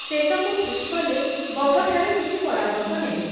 ଶେଷକୁ ଠିକ୍ କଲେ, ବଗଠାରୁ କିଛି ପରାମର୍ଶ ନେବେ ।